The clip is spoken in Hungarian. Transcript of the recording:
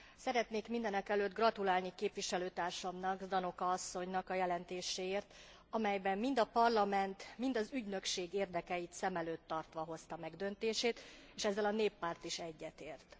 Szeretnék mindenekelőtt gratulálni képviselőtársamnak, Ždanoka asszonynak a jelentéséért, amelyben mind a Parlament, mind az ügynökség érdekeit szem előtt tartva hozta meg döntését, és ezzel a Néppárt is egyetért.